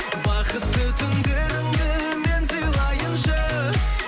бақытты түндеріңді мен сыйлайыншы